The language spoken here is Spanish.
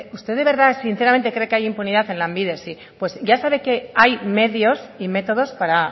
usted de verdad sinceramente cree que hay impunidad en lanbide sí pues ya sabe que hay medios y métodos para